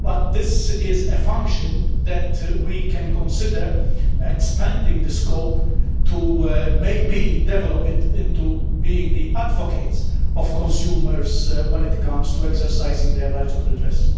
This is a function that we can consider expanding the scope to maybe develop it into being the advocates of consumers when it comes to exercising their right of redress.